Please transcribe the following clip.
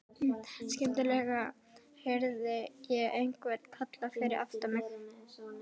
Skyndilega heyrði ég einhvern kalla fyrir aftan mig.